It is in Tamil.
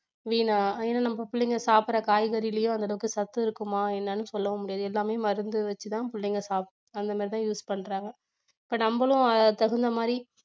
ஏன்னா நம்ம பிள்ளைங்க சாப்பிடற காய்கறியிலையும் அந்தளவுக்கு சத்து இருக்குமா என்னென்னு சொல்லமுடியாது எல்லாமே மருந்து வச்சித்தான் பிள்ளைங்க சாப்~ அந்த மாதிரி தான் use பண்றாங்க இப்ப நம்மளும் அதுக்கு தகுந்த மாதிரி